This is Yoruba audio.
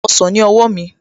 Gba ọsàn ní owó mi